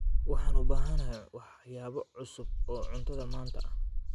Waxaan u baahanahay waxyaabo cusub oo cuntada maanta ah.